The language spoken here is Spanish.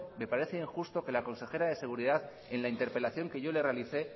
me parece injusto que la consejera de seguridad en la interpelación que yo le realicé